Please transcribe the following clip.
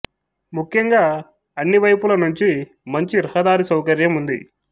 ముఖ్యంగా అన్ని వైపుల నుంచి మంచి రహదారి సౌకర్యం ఉంది